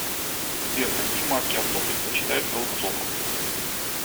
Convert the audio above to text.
сбер какие марки авто предпочитает голубцов